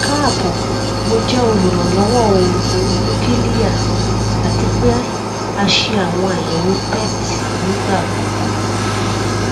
lana lẹhin ti um mo lò elliptical irora jẹ um nla nigbati mo dá